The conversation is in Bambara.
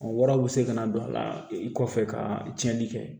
O waraw be se ka na don a la i kɔfɛ ka tiɲɛni kɛ